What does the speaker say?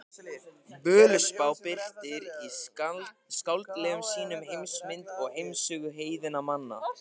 Völuspá birtir í skáldlegum sýnum heimsmynd og heimssögu heiðinna manna.